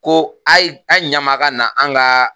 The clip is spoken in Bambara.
Ko a ye a ye ɲ'an ma a ka na an ka